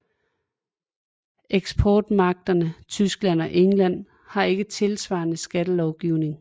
Eksportmagterne Tyskland og England har ikke tilsvarende skattelovgivning